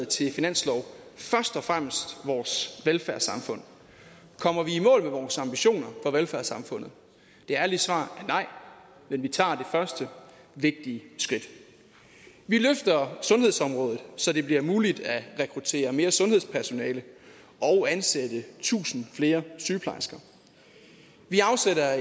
til finanslov først og fremmest vores velfærdssamfund kommer vi i mål med vores ambitioner for velfærdssamfundet det ærlige svar er nej men vi tager det første vigtige skridt vi løfter sundhedsområdet så det bliver muligt at rekruttere mere sundhedspersonale og ansætte tusind flere sygeplejersker vi afsætter